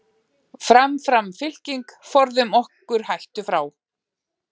Fram, fram fylking, forðum okkur hættu frá.